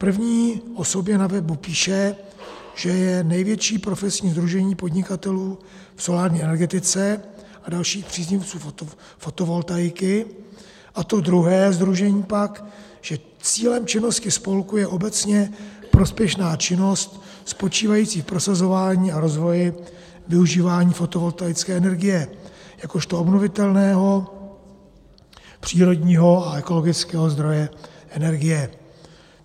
První o sobě na webu píše, že je největší profesní sdružení podnikatelů v solární energetice a dalších příznivců fotovoltaiky, a to druhé sdružení pak, že cílem činnosti spolku je obecně prospěšná činnost spočívající v prosazování a rozvoji využívání fotovoltaické energie jakožto obnovitelného přírodního a ekologického zdroje energie.